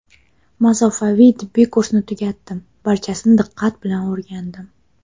Masofaviy tibbiy kursni tugatdim, barchasini diqqat bilan o‘rgandim.